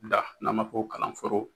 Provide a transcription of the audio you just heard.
Da n'an b'a fɔ kalan forow